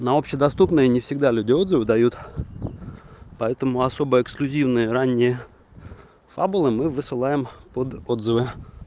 на общедоступные не всегда люди отзывы дают поэтому особо эксклюзивные ранние фабулы мы высылаем под отзывы